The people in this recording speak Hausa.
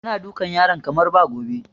Yana dukan yaran kamar ba gobe